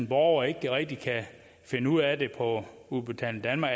borger ikke rigtig kan finde ud af det på udbetaling danmark